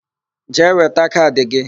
Jee weta kaadị gị!